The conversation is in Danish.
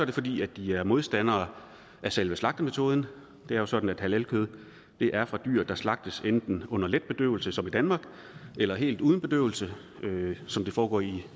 det fordi de er modstandere af selve slagtemetoden det er jo sådan at halalkød er fra dyr der slagtes enten under let bedøvelse som i danmark eller helt uden bedøvelse som det foregår i